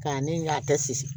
K'a ne y'a kɛ siri